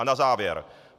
A na závěr.